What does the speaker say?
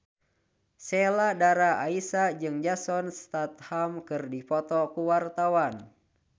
Sheila Dara Aisha jeung Jason Statham keur dipoto ku wartawan